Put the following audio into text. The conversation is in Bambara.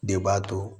De b'a to